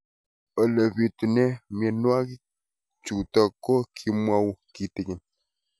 Ole pitune mionwek chutok ko kimwau kitig'�n